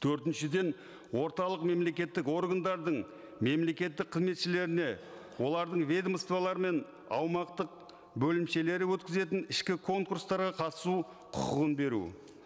төртіншіден орталық мемлекеттік органдардың мемлекеттік қызметшілеріне олардың ведомстволары мен аумақтық бөлімшелері өткізетін ішкі конкурстарға қатысу құқығын беру